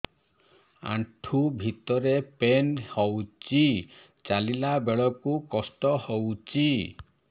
ଆଣ୍ଠୁ ଭିତରେ ପେନ୍ ହଉଚି ଚାଲିଲା ବେଳକୁ କଷ୍ଟ ହଉଚି